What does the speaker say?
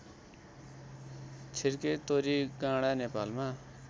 छिर्के तोरीगाँडा नेपालमा